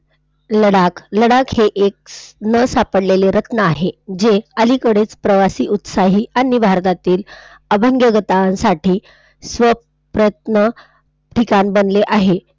लडाख, लडाख हे एक न सापडलेलं रत्न आहे. जे अलीकडेच प्रवासी, उत्साही अन्य भारतातील साठी ठिकाण बनलेले आहे.